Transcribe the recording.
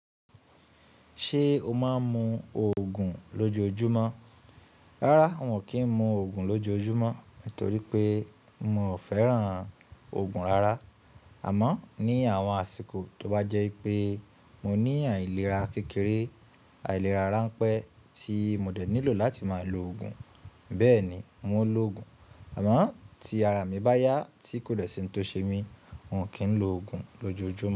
Ṣé o máa ń mu òògùn lójoojúmọ́? Rárá, n ò kí ń mu òògùn lójoojúmọ́ nítorí pé miò fẹ́ràn òògùn rárá. Àmọ́ ní àwọn àsìkò tó bá jẹ́ pé mo ní àìlera kékeré, àìlera ránpẹ́ tí mo dẹ̀ nílò láti máa lo òògùn, bẹ́ẹ̀ni mo a lo òògùn. Àmọ́ tí ara mi báyá tí kò dẹ̀ sí ohun tó ṣe mí, n ò kíń lo òògùn lójoojúmọ́